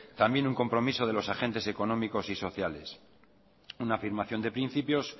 también un compromiso de los agentes económicos y sociales una afirmación de principios